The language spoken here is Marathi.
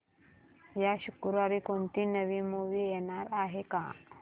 या शुक्रवारी कोणती नवी मूवी येणार आहे का